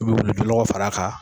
U bɛ wulujunɔgɔ far'a kan